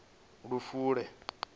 lufule